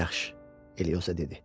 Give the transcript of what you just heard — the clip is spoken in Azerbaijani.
Yaxşı, Elioza dedi.